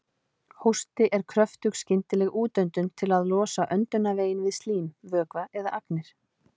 Hósti er kröftug skyndileg útöndun til að losa öndunarveginn við slím, vökva eða agnir.